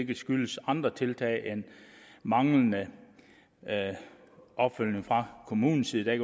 kan skyldes andre tiltag end manglende opfølgning fra kommunens side der